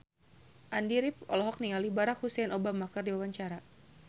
Andy rif olohok ningali Barack Hussein Obama keur diwawancara